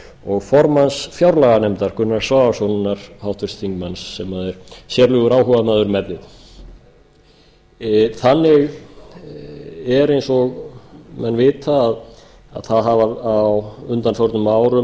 og formanns fjárlaganefndar háttvirtur þingmaður gunnars svavarssonar sem er sérlegur áhugamaður um efnið þannig er eins og menn vita að það hafa á undanförnum árum